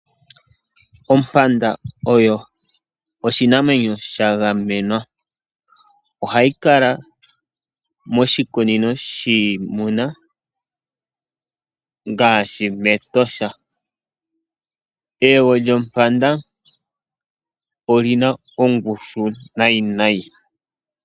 Ompanda oyo oshinamwenyo sha gamenwa. Ohayi kala moshikunino shiimuna ngaashi mEtosha. Eyego lyompanda oli na ongushu nayi nayi.